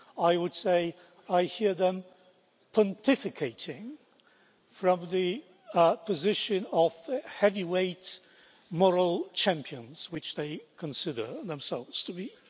I would say I hear them pontificating from the position of heavyweight moral champions, which they consider themselves to be.